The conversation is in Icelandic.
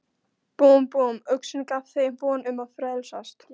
Búmm, búmm, uxinn gaf þeim von um að frelsast.